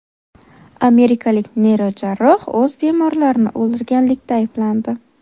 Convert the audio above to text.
Amerikalik neyrojarroh o‘z bemorlarini o‘ldirganlikda ayblandi.